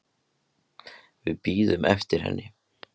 Við bíðum eftir henni